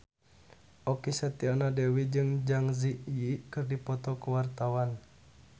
Okky Setiana Dewi jeung Zang Zi Yi keur dipoto ku wartawan